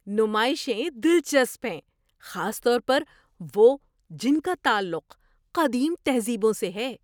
نمائشیں دلچسپ ہیں، خاص طور پر وہ جن کا تعلق قدیم تہذیبوں سے ہے۔